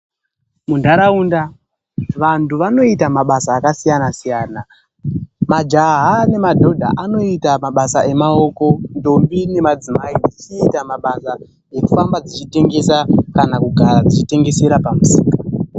Munharaunda, vantu vanoita mabasa akasiyana-siyana. Majaha nemadhodha anoita mabasa emaoko, ndombi nemadzimai vachiita mabasa ekufamba vachitengesa kana kugara vachitengesera pamusika.